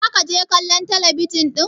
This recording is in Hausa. za ka je kallon talabijin din!